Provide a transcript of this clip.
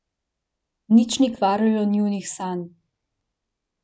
Nič ni kvarilo njunih sanj.